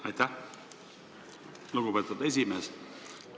Aitäh, lugupeetud esimees!